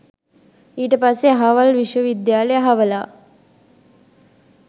ඊට පස්සෙ අහවල් විශ්ව විද්‍යාලෙ අහවලා